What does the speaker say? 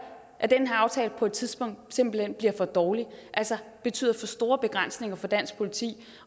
at den her aftale på et tidspunkt simpelt hen bliver for dårlig altså betyder for store begrænsninger for dansk politi